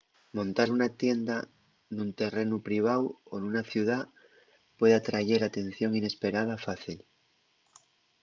montar una tienda nun terrenu priváu o nuna ciudá puede atrayer atención inesperada fácil